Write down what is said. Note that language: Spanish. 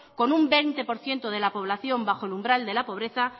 con un veinte por ciento de la población bajo el umbral de la pobreza